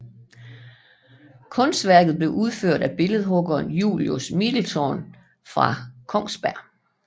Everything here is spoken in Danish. Kunstværket er udført af billedhuggeren Julius Middelthun fra Kongsberg